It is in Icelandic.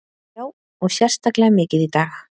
Já, og sérstaklega mikið í dag.